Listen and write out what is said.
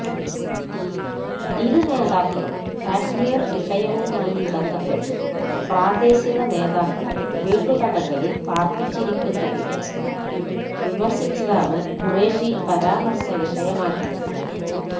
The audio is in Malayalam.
ഇരു നേതാക്കളും കശ്മീര് വിഷയവുമായി ബന്ധപ്പെട്ട് പ്രാദേശിക നേതാക്കളെ വീട്ടുതടങ്കലില് പാര്പ്പിച്ചിരിക്കുന്നതിനെ വിമര്ശിച്ചതാണ് ഖുറേഷി പരാമര്ശ വിഷയമാക്കിയത്